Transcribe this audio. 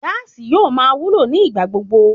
Gáàsì yóò máa wúlò ní ìgbà gbogbo